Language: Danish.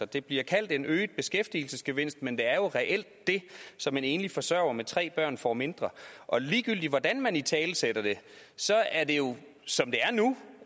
det bliver kaldt en øget beskæftigelsesgevinst men det er jo reelt det som en enlig forsørger med tre børn får mindre og ligegyldigt hvordan man italesætter det er det jo som det